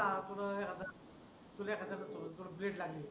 तुले एखाद्याच चोरून चोरून वेड लागले.